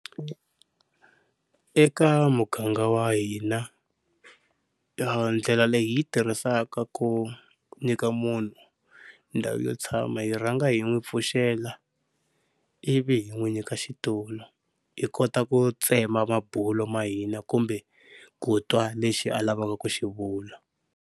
Eka muganga wa hina, ndlela leyi hi yi tirhisaka ku nyika munhu ndhawu yo tshama hi rhanga hi n'wi pfuxela ivi hi n'wi nyika xitulu hi kota ku tsema mabulo ma hina kumbe ku twa lexi a lavaka ku xi vula.